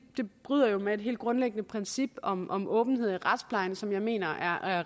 jo bryder med et helt grundlæggende princip om om åbenhed i retsplejen som jeg mener er